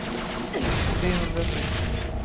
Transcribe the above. trehundrasextio